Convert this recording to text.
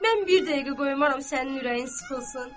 Mən bir dəqiqə qoymaram sənin ürəyin sıxılsın.